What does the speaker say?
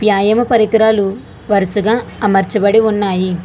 వ్యాయామ పరికరాలు వరుసగా అమర్చబడి ఉన్నాయి.